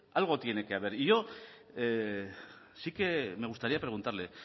algo tiene que haber y yo sí que me gustaría preguntarle